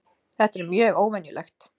Þetta er mjög óvenjulegt